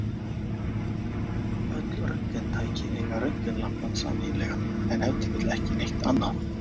Öll röntgentæki eiga röntgenlampann sameiginlegan, en ef til vill ekki neitt annað!